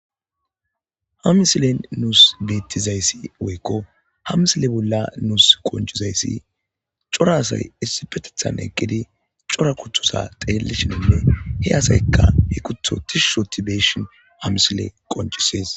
Ha misilen nus beetizayssi woykko ha misile bolla nus qoncidayssi cora asay issippetetha eqqidi cora kuthota xeelishe he asaykka he kuththo tishshi oothi be7ishin ha misile qonccisees.